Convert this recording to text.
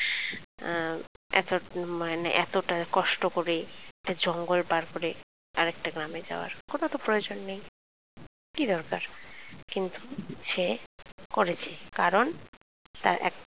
আহ এতোটুকু মানে? এতটা কষ্ট করে একটা জঙ্গল পার করে আরেকটা গ্রামে যাওয়া কোন তো প্রয়োজন নেই কি দরকার কিন্তু সে করেছে কারণ তার এক